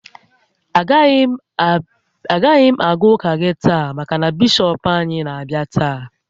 Agaghị m aga ụka gị taa maka na Bishọp anyị na-abịa taa